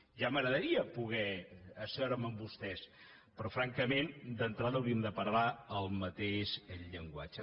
ja m’agradaria de poder asseure’m amb vostès però francament d’entrada hauríem de parlar el mateix llenguatge